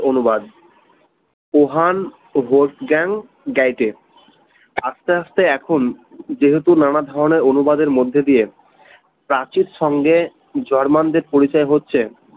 অনুবাদ উহান host জ্ঞান গাইডে আস্তে আস্তে এখন যেহেতু নানা ধরনের অনুবাদের মধ্যে দিয়ে প্রাচীর সঙ্গে জার্মানদের পরিচয় হচ্ছে